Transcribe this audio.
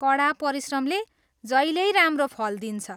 कडा परिश्रमले जहिल्यै राम्रो फल दिन्छ।